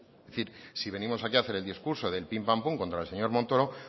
es decir si venimos aquí a hacer el discurso del pim pam pum contra el señor montoro